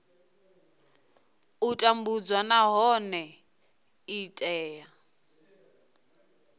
u tambudzwa nahone i tea